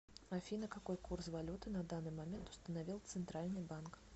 афина какой курс валюты на данный момент установил центральный банк